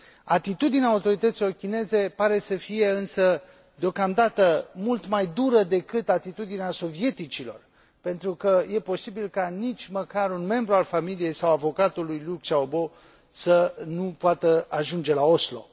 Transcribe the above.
Atitudinea autorităților chineze pare să fie însă, deocamdată, mult mai dură decât atitudinea sovieticilor, pentru că e posibil ca nici măcar un membru al familiei, sau avocatul lui Liu Xiaobo, să nu poată ajunge la Oslo.